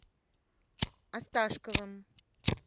осташковым